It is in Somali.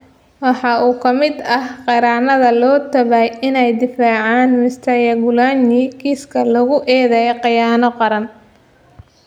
Waxa uu ka mid ahaa qareennada loo taxaabay inay difaacaan Mr Kyagulanyi kiiska lagu eedeeyay khiyaano qaran.